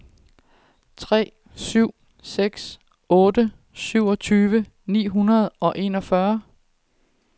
tre syv seks otte syvogtyve ni hundrede og enogfyrre